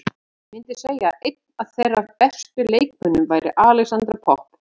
Ég myndi segja að einn af þeirra bestu leikmönnum væri Alexandra Popp.